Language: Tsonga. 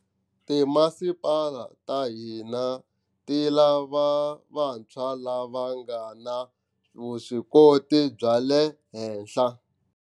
Timasipala ta hina ti lava vantshwa lava va nga na viswikoti bya le henhla.